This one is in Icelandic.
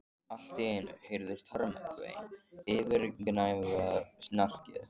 Allt í einu heyrðist harmakvein yfirgnæfa snarkið.